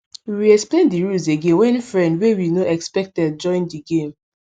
we reexplain di rules again when friend wey we nor expected join di game